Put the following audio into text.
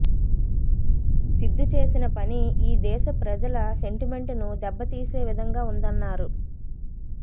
సిద్దు చేసిన పని ఈ దేశ ప్రజల సెంటిమెంటును దెబ్బతీసే విధంగా ఉందన్నారు